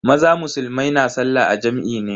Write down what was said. Maza musulmai na sallah a jam'i ne.